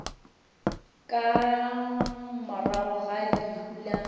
ka morago ga lehu la